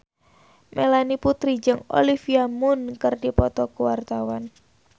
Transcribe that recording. Melanie Putri jeung Olivia Munn keur dipoto ku wartawan